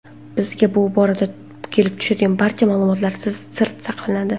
Bizga bu borada kelib tushadigan barcha ma’lumotlar sir saqlanadi.